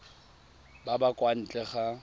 ba ba kwa ntle ga